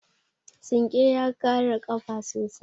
Sinƙe ya kare ƙafa sosai.